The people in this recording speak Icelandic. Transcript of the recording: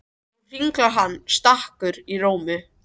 Nú hringlar hann stakur í tómi.